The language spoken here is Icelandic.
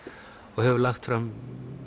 og hefur lagt fram